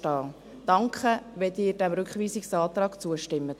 Danke, wenn Sie diesem Rückweisungsantrag zustimmen.